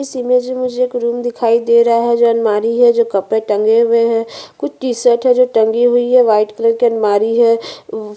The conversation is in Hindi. इस इमेज में मुझे एक रूम दिखाई दे रहा है जो अलमारी है जो कपड़े टंगे हुए है कुछ टी शर्ट है जो टंगी हुई है व्हाइट अलमारी है।